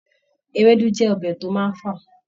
Ewédú jẹ́ ọbẹ̀ tó máa ń fà